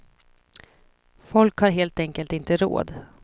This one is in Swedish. Folk har helt enkelt inte råd.